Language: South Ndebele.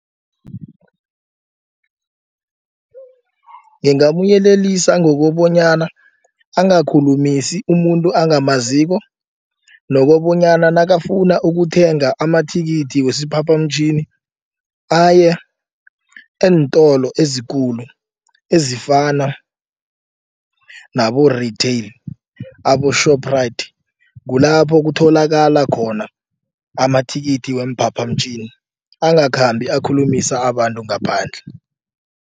Ngingamyelelisa ngokobonyana angakhulumisi umuntu angamaziko. Nokobonyana nakafuna ukuthenga amathikithi wesiphaphamtjhini aya eentolo ezikulu ezifana nabo-retail abo-shoprite. Kulapho kutholakala khona amathikithi weemphaphamtjhini angakhambi akhulumisa abantu ngaphandle.